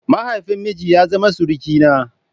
Mahaifin miji ya zama surukina.